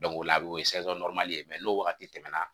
o la a bɛ o ye n'o wagati tɛmɛna